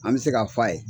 An bɛ se k'a f'a ye